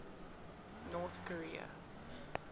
north korea